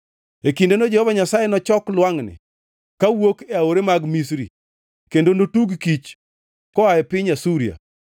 E kindeno Jehova Nyasaye nochok lwangʼni kawuok e aore mag Misri kendo notug kich koa e piny Asuria.